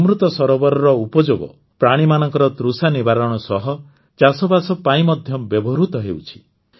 ଅମୃତ ସରୋବରର ଉପଯୋଗ ପ୍ରାଣୀମାନଙ୍କ ତୃଷା ନିବାରଣ ସହ ଚାଷବାସ ପାଇଁ ମଧ୍ୟ ବ୍ୟବହୃତ ହେଉଛି